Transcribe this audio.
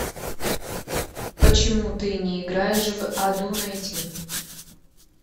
почему ты не играешь в аду найти